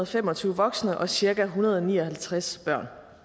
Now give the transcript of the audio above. fem og tyve voksne og cirka en hundrede og ni og halvtreds børn